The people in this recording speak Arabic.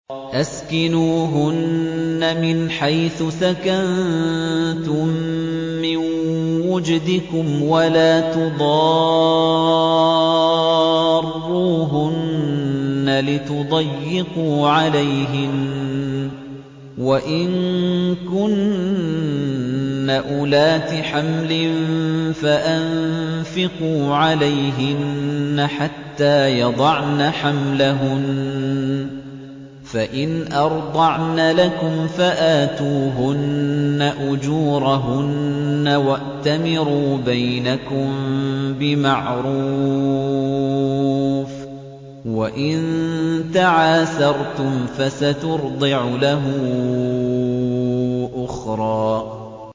أَسْكِنُوهُنَّ مِنْ حَيْثُ سَكَنتُم مِّن وُجْدِكُمْ وَلَا تُضَارُّوهُنَّ لِتُضَيِّقُوا عَلَيْهِنَّ ۚ وَإِن كُنَّ أُولَاتِ حَمْلٍ فَأَنفِقُوا عَلَيْهِنَّ حَتَّىٰ يَضَعْنَ حَمْلَهُنَّ ۚ فَإِنْ أَرْضَعْنَ لَكُمْ فَآتُوهُنَّ أُجُورَهُنَّ ۖ وَأْتَمِرُوا بَيْنَكُم بِمَعْرُوفٍ ۖ وَإِن تَعَاسَرْتُمْ فَسَتُرْضِعُ لَهُ أُخْرَىٰ